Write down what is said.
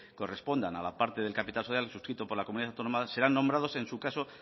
correspondan a la parte del capital social suscrito por la comunidad autónoma sean nombrado en su caso